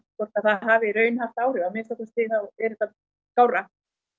hvort það hafi í raun haft áhrif að minnsta kosti er þetta skárra